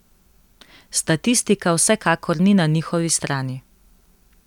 Statistika vsekakor ni na njihovi strani.